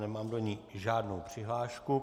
Nemám do ní žádnou přihlášku.